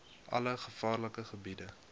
alle gevaarlike gebiede